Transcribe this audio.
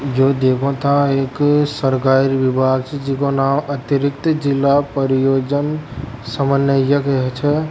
यो देखो ता एक सरकारी विभाग जे जिको नाम अतरिक्त जिला परियोजन समन्वय याग च।